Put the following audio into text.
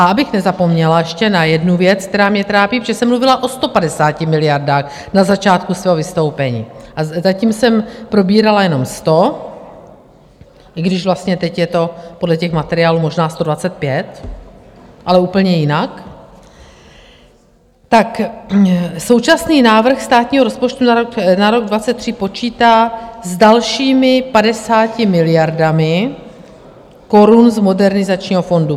A abych nezapomněla ještě na jednu věc, která mě trápí, protože jsem mluvila o 150 miliardách na začátku svého vystoupení, a zatím jsem probírala jenom 100, i když vlastně teď je to podle těch materiálů možná 125, ale úplně jinak, tak současný návrh státního rozpočtu na rok 2023 počítá s dalšími 50 miliardami korun z Modernizačního fondu.